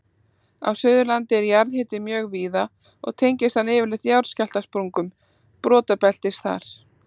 Á Suðurlandi er jarðhiti mjög víða og tengist hann yfirleitt jarðskjálftasprungum brotabeltisins þar.